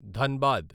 Dhanbad